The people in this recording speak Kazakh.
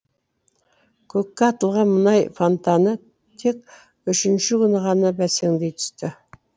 көкке атылған мұнай фонтаны тек үшінші күні ғана бәсеңдей түсті